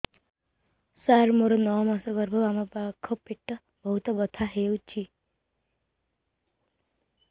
ସାର ମୋର ନଅ ମାସ ଗର୍ଭ ବାମପାଖ ପେଟ ବହୁତ ବଥା ହଉଚି